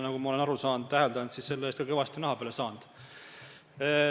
Nagu ma olen aru saanud ja täheldanud, oled selle eest ka kõvasti naha peale saanud.